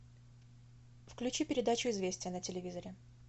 включи передачу известия на телевизоре